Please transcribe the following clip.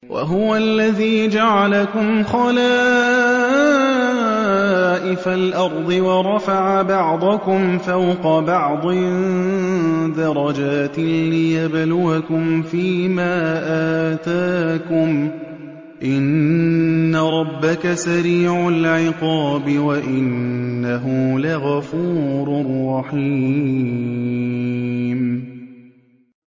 وَهُوَ الَّذِي جَعَلَكُمْ خَلَائِفَ الْأَرْضِ وَرَفَعَ بَعْضَكُمْ فَوْقَ بَعْضٍ دَرَجَاتٍ لِّيَبْلُوَكُمْ فِي مَا آتَاكُمْ ۗ إِنَّ رَبَّكَ سَرِيعُ الْعِقَابِ وَإِنَّهُ لَغَفُورٌ رَّحِيمٌ